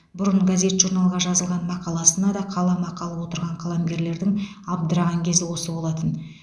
бұрын газет журналға жазылған мақаласына да қаламақы алып отырған қаламгерлердің абдыраған кезі осы болатын